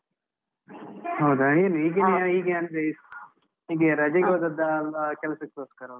ಹೌದಾ? ಏನು ಹೀಗೆ ಅಂದ್ರೆ ಹೀಗೆ ರಜೆಗೆ ಹೋದದ್ದಾ, ಅಲ್ಲ ಕೆಲ್ಸಕೋಸ್ಕರ ಹೋದದ್ದಾ?